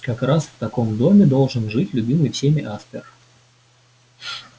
как раз в таком доме должен жить любимый всеми аспер